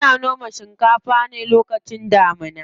Ana noma shinkafa ne lokacin damuna.